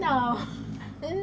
Não...